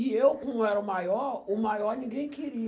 E eu, como era o maior, o maior ninguém queria.